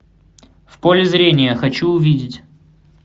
в поле зрения хочу увидеть